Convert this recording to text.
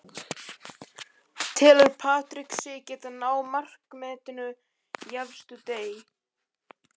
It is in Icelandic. Telur Patrick sig geta náð markametinu í efstu deild?